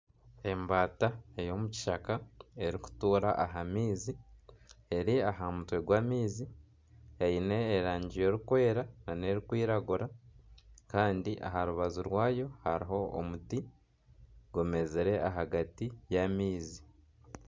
Embaata ey'omu kishaka erikutuura aha maizi eri aha mutwe gw'amaizi eine erangi erikwera na n'erikwiragura kandi aha rubaju rwaayo hariho omuti gumezire ahagati y'amaizi.